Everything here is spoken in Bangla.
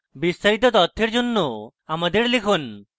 বিস্তারিত তথ্যের জন্য আমাদের লিখুন